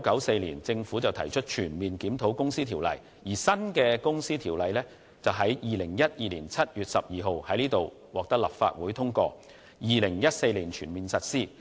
其後，政府在1994年全面檢討《公司條例》；而新《公司條例》則在2012年7月12日獲得立法會通過，並在2014年全面實施。